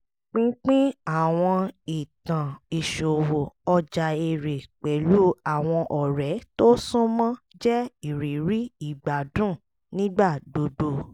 pínpín àwọn ìtàn ìṣòwò ọjà èrè pẹ̀lú àwọn ọ̀rẹ́ tó súnmọ́ jẹ́ ìrírí ìgbádùn nígbà gbogbo